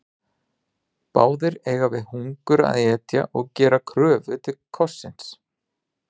Báðir eiga við hungur að etja og gera kröfu til kossins.